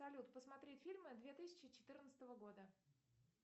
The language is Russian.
салют посмотреть фильмы две тысячи четырнадцатого года